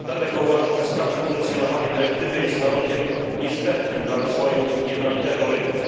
Dlatego uważam, że sprawne funkcjonowanie dyrektywy jest warunkiem niezbędnym dla rozwoju jednolitego rynku.